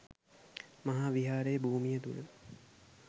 මහා විහාර භූමිය තුළ